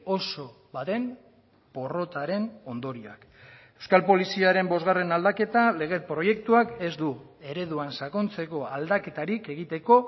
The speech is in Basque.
oso baten porrotaren ondorioak euskal poliziaren bosgarren aldaketa lege proiektuak ez du ereduan sakontzeko aldaketarik egiteko